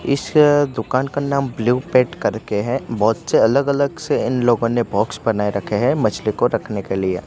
इस दुकान का नाम ब्लू पेट करके है बहोत से अलग अलग से इन लोगों ने बॉक्स बनाए रखे हैं मछली को रखने के लिए।